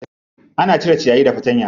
Ana cire ciyayi da fatanya.